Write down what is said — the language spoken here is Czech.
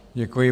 Děkuji.